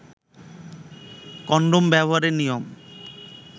condom ব্যবহারের নিয়ম